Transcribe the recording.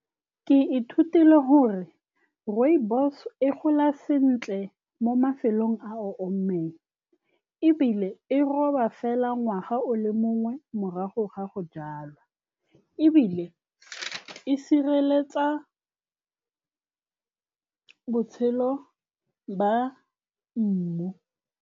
Ke ithutile gore rooibos-o e gola sentle mo mafelong a a omileng, ebile e roba fela ngwaga o le mongwe morago ga go jalwa, ebile e sireletsa botshelo ba mmu.